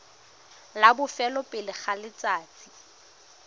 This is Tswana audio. la bofelo pele ga letsatsi